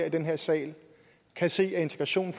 i den her sal kan se at integrationen